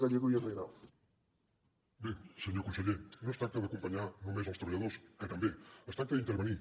bé senyor conseller no es tracta d’acompanyar només els treballadors que també es tracta d’intervenir